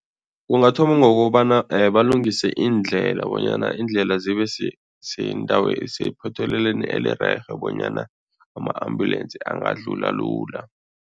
Ungathoma ngokobana balungise iindlela bonyana iindlela zibe sephothelelweni elirerhe bonyana ama-ambulensi angadlula lula.